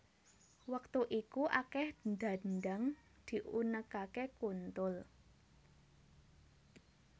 Wektu iku akeh dhandhang diunekake kuntul